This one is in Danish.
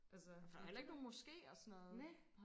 for der er jo heller ikke nogen moske og sådan noget